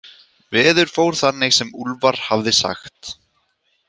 Veður fór þannig sem Úlfar hafði sagt.